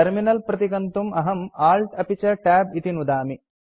terminal प्रतिगन्तुम् अहं ALT अपि च Tab इति नुदामि